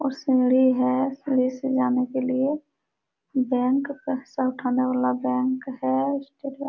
और सीढ़ी है सीढ़ी से जाने लिए बैंक पैसा उठाने वाला बैंक है। --